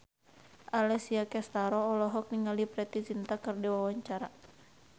Alessia Cestaro olohok ningali Preity Zinta keur diwawancara